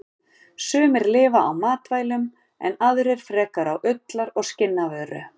Sumar lifa á matvælum en aðrar frekar á ullar- og skinnavöru.